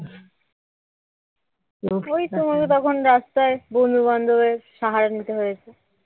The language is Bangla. ওই তোমার তো তখন রাস্তায় বন্ধু-বান্ধবদের সহায় নিতে হয়েছে